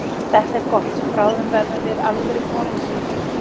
Það er gott, bráðum verðum við alvöru konungsríki.